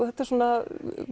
þetta er svona